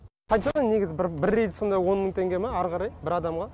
қаншадан негізі бір бір рейсі сонда он мың теңге ма ары қарай бір адамға